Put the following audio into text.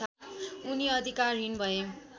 उनी अधिकारहीन भए